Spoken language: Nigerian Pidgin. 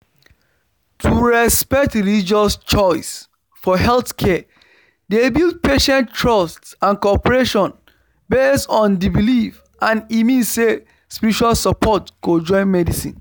to respect religious choice for healthcare dey build patient trust and cooperation based on the belief and e mean say spiritual support go join medicine